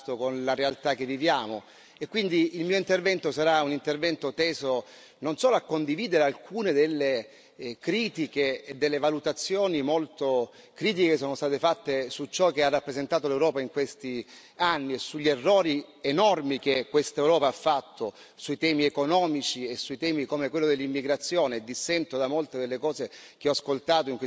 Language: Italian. Quindi il mio intervento sarà un intervento teso non solo a condividere alcune delle critiche e delle valutazioni molto critiche che sono state fatte su ciò che ha rappresentato l'Europa in questi anni e sugli errori enormi che questa Europa ha fatto sui temi economici e sui temi come quello dell'immigrazione e dissento da molte delle cose che ho ascoltato in questi ultimi interventi su questi temi